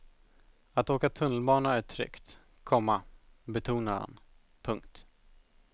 Att åka tunnelbana är att åka tryggt, komma betonar han. punkt